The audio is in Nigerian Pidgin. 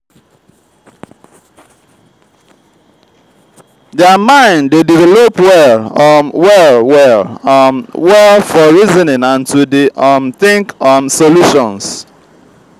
their mind de develop well um well well um well for reasoning and to de um think um solutions